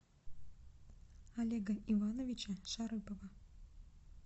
олега ивановича шарыпова